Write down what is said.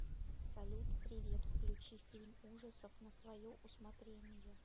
салют привет включи фильм ужасов на свое усмотрение